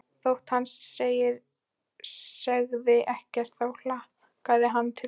Þótt hann segði ekkert þá hlakkaði hann til þess.